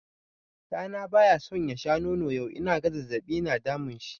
Ɗa na bayaso ya sha nono yau inaga zazzaɓi na damunshi.